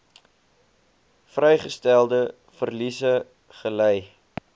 vasgestelde verliese gely